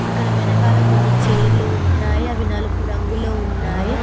ఇక్కడ వెనకాల కొన్ని చేర్లు ఉన్నాయ్ అవి నలుపు రంగులో ఉన్నాయి.